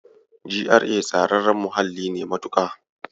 GRA tsararren muhalli ne matuƙa.